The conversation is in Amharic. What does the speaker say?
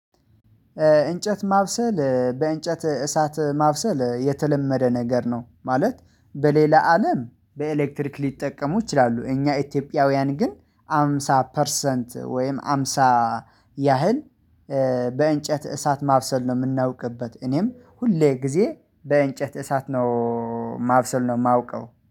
እንጨት ማብሰል በእንጨት እሳት ማብሰል የተለመደ ነገር ነው ማለት በሌላ አለም በኤሌክትሪክ ሊጠቀሙ ይችላሉ። እኛ ኢትዮጵያውያን ግን ሃምሳ ፐርሰንት ወይም ሃምሳ ያህል በእንጨት እሳት ማብሰል ነው የምናውቅበት። እኔም ሁሌ ጊዜ በእንጨት እሳት ነው ማብሰል ነው የማውቀው